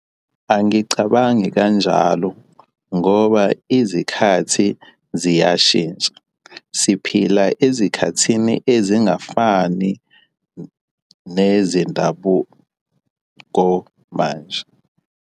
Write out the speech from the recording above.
Angicabangi kanjalo ngoba izikhathi ziyashintsha. Siphila ezikhathini ezingafani nezendabuko manje.